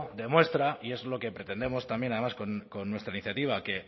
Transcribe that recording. demuestra y es lo que pretendemos también además con nuestra iniciativa que